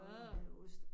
Ad